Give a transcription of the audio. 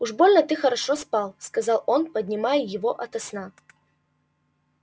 уж больно ты хорошо спал сказал он поднимая его ото сна